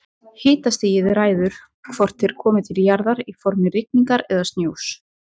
Hitastigið ræður því hvort þeir komi til jarðar í formi rigningar eða snjós.